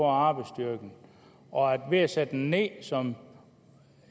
arbejdsstyrken ved at sætte ned som